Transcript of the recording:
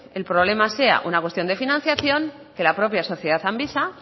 el problema sea una cuestión de financiación que la propia sociedad amvisa